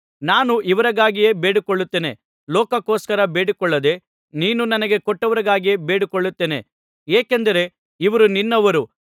ನಾನು ಇವರಿಗಾಗಿಯೇ ಬೇಡಿಕೊಳ್ಳುತ್ತೇನೆ ಲೋಕಕ್ಕೋಸ್ಕರ ಬೇಡಿಕೊಳ್ಳದೆ ನೀನು ನನಗೆ ಕೊಟ್ಟವರಿಗಾಗಿಯೇ ಬೇಡಿಕೊಳ್ಳುತ್ತೇನೆ ಏಕೆಂದರೆ ಇವರು ನಿನ್ನವರು